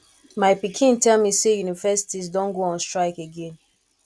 my pikin tell me say universities don go on strike again